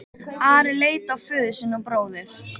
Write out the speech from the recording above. Ari leit á föður sinn og bróður.